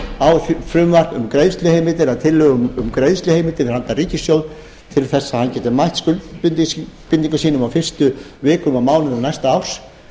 frumvarp um greiðsluheimildir að tillögu um greiðsluheimildir handa ríkissjóði til þess að hann geti mætt skuldbindingum sínum á fyrstu vikum og mánuðum næsta árs